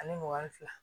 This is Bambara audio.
Ani mugan ni fila